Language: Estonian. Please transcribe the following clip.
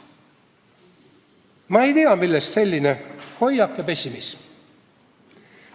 Ma ei tea, millest selline hoiak ja pessimism.